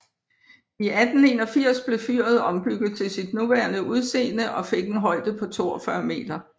I 1881 blev fyret ombygget til sit nuværende udseende og fik en højde på 42 meter